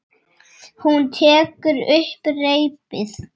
Hún tekur upp reipið.